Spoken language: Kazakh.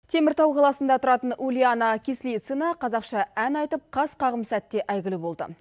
теміртау қаласында тұратын ульяна кислицына қазақша ән айтып қас қағым сәтте әйгілі болды